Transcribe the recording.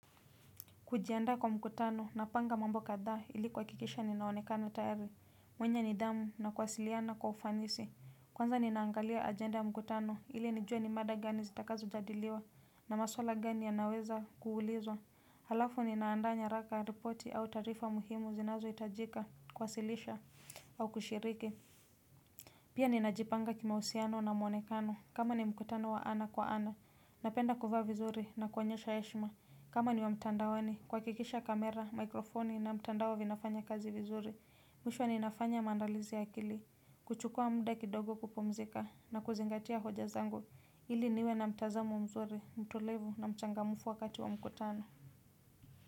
Kujiandaa kwa mkutano napanga mambo kathaa ili kuakikisha ninaonekana tayari. Mwenye nithamu na kuwasiliana kwa ufanisi. Kwanza ninaangalia agenda ya mkutano ili nijue ni mada gani zitakazo jadiliwa na maswala gani yanaweza kuulizwa. Halafu ninaandaa nyaraka, ripoti au taarifa muhimu zinazo itajika kwasilisha au kushiriki. Pia ninajipanga kimausiano na mwonekano kama ni mkutano wa ana kwa ana. Napenda kuvaa vizuri na kuonyesha heshima. Kama ni wa mtandaoni, kwakikisha kamera, mikrofoni na mtandao vinafanya kazi vizuri. Mwisho ninafanya maandalizi ya akili, kuchukua muda kidogo kupumzika na kuzingatia hoja zangu. Ili niwe na mtazamo mzuri, mtulivu na mchangamfu wakati wa mkutano.